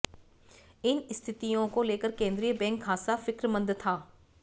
इन स्थितियों को लेकर केंद्रीय बैंक खासा फिक्रमंद था